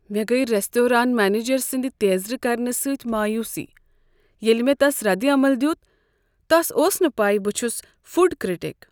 مےٚ گٔیہ restaurant manager سٕنٛد تیزر کرنہٕ سۭتۍ مایوسی ییٚلہ مےٚ تس ردعمل دیت۔ تس اوس نہٕ پے ز بہٕ چھس فوڈ کرٹک۔